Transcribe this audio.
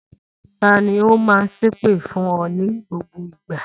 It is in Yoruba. Ta ni ó máa ń ṣépè fún ọ ní gbogbo ìgbà?